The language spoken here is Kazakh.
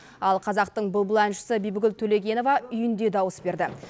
ал қазақтың бұлбұл әншісі бибігүл төлегенова үйінде дауыс берді